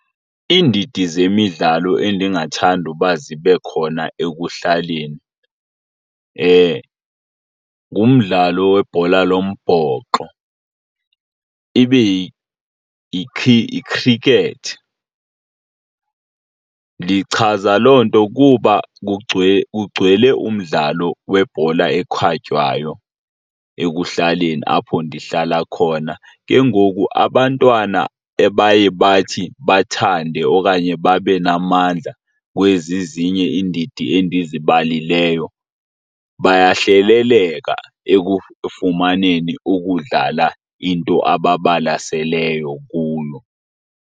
Iindidi zemidlalo endingathanda uba zibe khona ekuhlaleni, ngumdlalo webhola lombhoxo, ibe yi-cricket. Ndichaza loo nto kuba kugcwele umdlalo webhola ekhatywayo ekuhlaleni apho ndihlala khona. Ke ngoku abantwana ebaye bathi bathande okanye babe namandla kwezi ezinye iindidi endizibalileyo bayahleleleka ekufumaneni ukudlala into ababalaseleyo kuyo.